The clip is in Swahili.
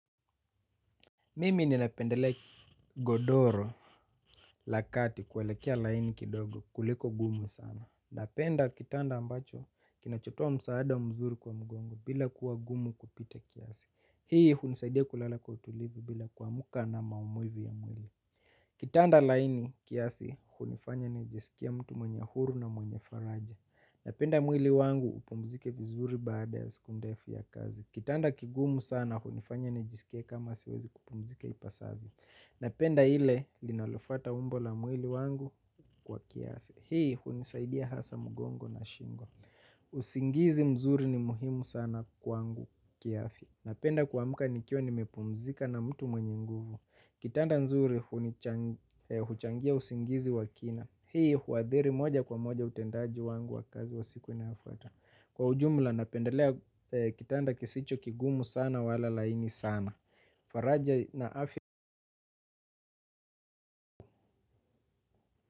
Mimi ninapendelea godoro la kati kelekea laini kidogo kuliko gumu sana. Napenda kitanda ambacho kinachotoa msaada mzuri kwa mgongo bila kuwa gumu kupita kiasi. Hii hunisaidia kulala kwa utulivi bila kuamka na maumivu ya mwili. Kitanda laini kiasi hunifanya nijisikie mtu mwenye huru na mwenye faraja. Napenda mwili wangu hupumzike vizuri baada ya siku ndefu ya kazi. Kitanda kigumu sana, hunifanya nijisikie kama siwezi kupumzika ipasavyo. Napenda ile, linalofuata umbo la mwili wangu kwa kiasi. Hii hunisaidia hasa mgongo na shingo. Usingizi mzuri ni muhimu sana kwangu kiafya. Napenda kuamka nikiwa nimepumzika na mtu mwenye nguvu. Kitanda nzuri, huchangia usingizi wa kina. Hii huadhiri moja kwa moja utendaji wangu wa kazi wa siku inayofuata. Kwa ujumula napendelea kitanda kisicho kigumu sana wala laini sana.